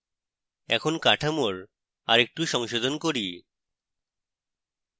এখন কাঠামোর আরেকটু সংশোধন করি